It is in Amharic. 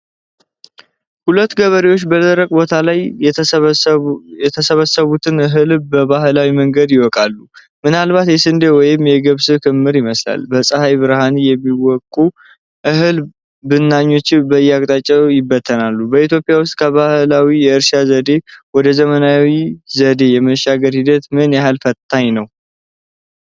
ሁለት ገበሬዎች በደረቅ ቦታ ላይ የሰበሰቡትን እህል በባህላዊ መንገድ ይወቃሉ። ምናልባት የስንዴ ወይም የገብስ ክምር ይመስላል። በፀሐይ ብርሃን ከሚወቀው እህል ብናኞች በየአቅጣጫው ይበተናሉ። በኢትዮጵያ ውስጥ ከባህላዊ የእርሻ ዘዴ ወደ ዘመናዊ ዘዴ የመሸጋገር ሂደት ምን ያህል ፈታኝ ነው?